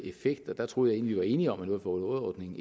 effekt der troede jeg vi var enige om at noget for noget ordningen